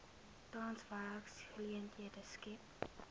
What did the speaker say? tans werksgeleenthede skep